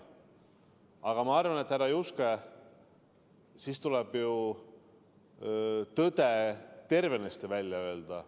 Aga ma arvan, härra Juske, et sellisel juhul tuleb tõde tervenisti välja öelda.